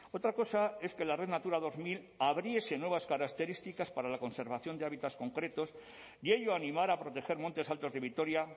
otra cosa es que la red natura dos mil abriese nuevas características para la conservación de hábitats concretos y ello animara proteger montes altos de vitoria